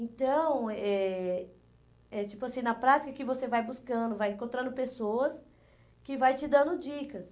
Então, eh eh é tipo assim na prática, que você vai buscando, vai encontrando pessoas que vai te dando dicas.